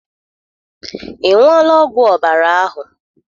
Ị ṅụọla ọgwụ ọbara ahụ?